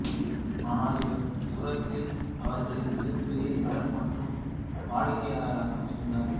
ஆனால் இவர் சூரத்தில் அவர்களின் மிகப்பெரிய கடன் மற்றும் வாடிக்கையாளராகவும் இருந்தார்